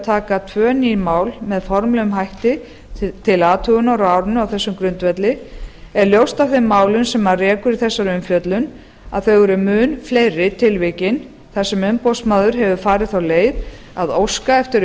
taka tvö ný mál með formlegum hætti til athugunar á árinu á þessum grundvelli er ljóst af þeim málum sem hann rekur í þessari umfjöllun að þau eru mun fleiri tilvikin þar sem umboðsmaður hefur farið þá leið að óska eftir